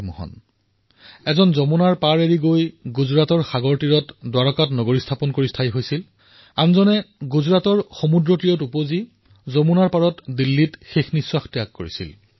সুদৰ্শন চক্ৰধাৰী মোহন যমুনাৰ তট এৰি গুজৰাটৰ সমুদ্ৰৰ তটত দ্বাৰকা নগৰীত বসতি কৰিছিল আৰু সমুদ্ৰৰ পাৰত জন্ম হোৱা মোহনে যমুনাৰ তটলৈ আহি দিল্লীত জীৱনৰ অন্তিম শ্বাস ত্যাগ কৰিছিল